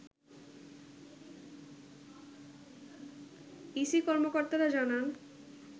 EC কর্মকর্তারা জানান